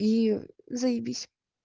и заебись